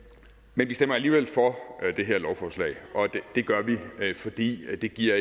men vi stemmer alligevel for det her lovforslag og det gør vi fordi det ikke giver